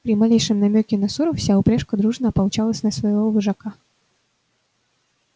при малейшем намёке на ссору вся упряжка дружно ополчалась на своего вожака